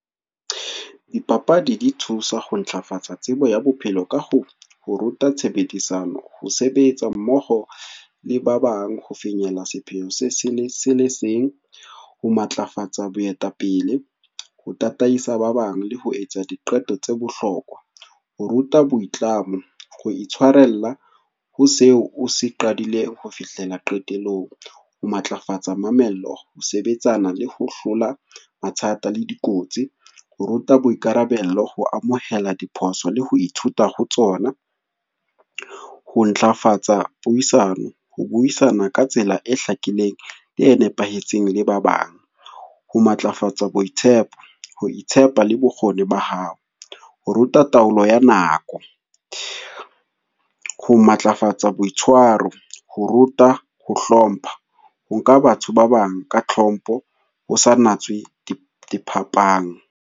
Dipapadi dithusa ho ntlafatsa tsebo ya bophelo ka ho ruta tshebedisano, ho sebetsa mmoho le ba bang, ho finyella sepheho se le seng, ho matlafatsa boetapele, ho tataisa ba bang le ho etsa diqeto tsa bohlokwa. Ho ruta boitlamo, ho itshwarella ho seo o se qadile ho fihlela qetellong, ho matlafatsa mamello, ho sebetsana le ho hlola mathata le dikotsi, ho ruta boikarabelo, ho amohela diphoso le ho ithuta ho tsona. Ho ntlafatsa puisano, ho buisana ka tsela e hlakileng le e nepahetseng le ba bang, ho matlafatsa boitshepo, ho itshepa le bokgoni ba hao, ho ruta taolo ya nako. Ho matlafatsa boitswaro, ho ruta ho hlompha, ho nka batho ba bang ka tlhompho ho sa natswe diphapang.